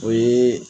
O ye